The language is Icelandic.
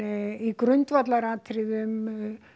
í grundvallaratriðum